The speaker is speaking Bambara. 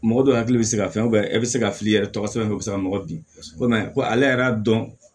Mɔgɔ dɔ hakili bɛ se ka fɛn e bɛ se ka fili yɛrɛ tɔgɔ sɛbɛn o bɛ se ka nɔgɔ bin ko ko ale yɛrɛ y'a dɔn